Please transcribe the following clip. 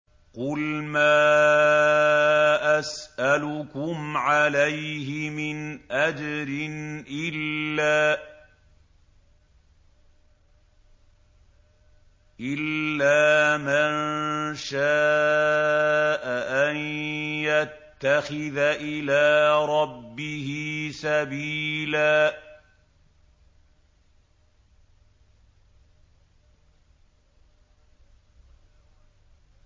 قُلْ مَا أَسْأَلُكُمْ عَلَيْهِ مِنْ أَجْرٍ إِلَّا مَن شَاءَ أَن يَتَّخِذَ إِلَىٰ رَبِّهِ سَبِيلًا